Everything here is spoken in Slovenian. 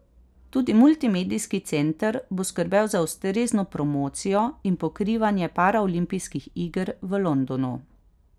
Tudi Multimedijski center bo skrbel za ustrezno promocijo in pokrivanje paraolimpijskih iger v Londonu.